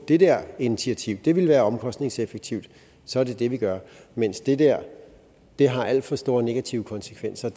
det der initiativ vil vil være omkostningseffektivt og så er det det vi gør mens det der har alt for store negative konsekvenser